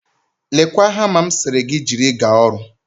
Lekwa hama m sịrị gị jiri gaa ọrụ